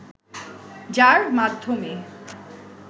যাঁর মাধ্যমে